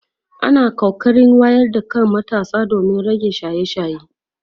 ana kokarin wayar da kan matasa domin rage shaye shaye